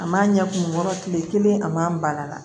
A man ɲɛ kun kɔrɔ kile kelen a man na